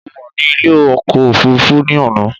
Mo wà ní ilé ọkọ̀ òfurufú ní àná